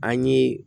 An ye